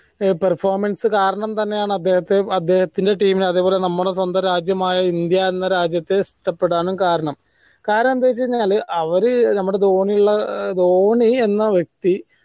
performance കാരണം തന്നെയാണ് അദ്ദേഹത്തെ അദ്ദേഹത്തിന്റെ team നെ അതുപോലെ നമ്മള സ്വന്തം രാജ്യം ഇന്ത്യ എന്ന രാജ്യത്തെ ഇഷ്ടപ്പെടാനും കാരണം കാരണം എന്ത് വെച്ച് കഴിഞ്ഞാൽ അവർ നമ്മളെ ധോണിയുള്ള ധോണി എന്ന വ്യക്തി